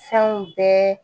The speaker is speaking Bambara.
Fɛnw bɛɛ